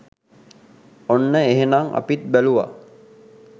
ඔන්න එහනම් අපිත් බැලුවා